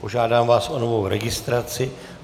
Požádám vás o novou registraci.